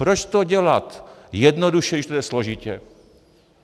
Proč to dělat jednoduše, když to jde složitě.